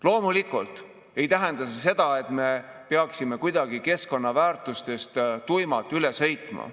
Loomulikult ei tähenda see seda, et me peaksime kuidagi keskkonnaväärtustest tuimalt üle sõitma.